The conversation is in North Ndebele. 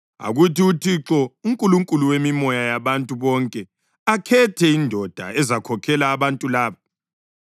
“Akuthi uThixo, uNkulunkulu wemimoya yabantu bonke akhethe indoda ezakhokhela abantu laba